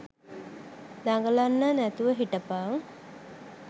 දඟලන නැතුව හිටපන්.